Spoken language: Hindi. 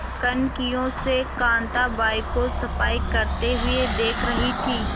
कनखियों से कांताबाई को सफाई करते हुए देख रही थी